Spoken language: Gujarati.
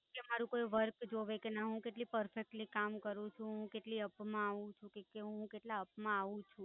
કે મારુ કોઈ work જોવે કે ના હું કેટલી perfectly કામ કરું છું કેટલી up માં આવું છું કે કે હું કેટલા up માં આવું છું